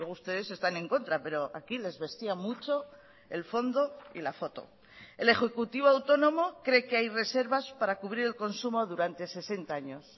ustedes están en contra pero aquí les vestía mucho el fondo y la foto el ejecutivo autónomo cree que hay reservas para cubrir el consumo durante sesenta años